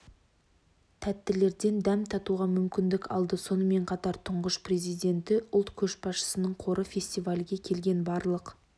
тәттілерден дәм татуға мүмкіндік алды сонымен қатар тұңғыш президенті ұлт көшбасшысының қоры фестивальге келген барлық